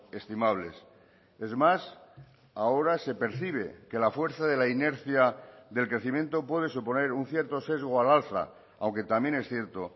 estimables es más ahora se percibe que la fuerza de la inercia del crecimiento puede suponer un cierto sesgo al alza aunque también es cierto